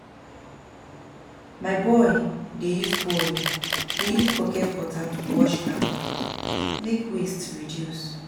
My boy dey use bucket water to wash car, make waste reduce.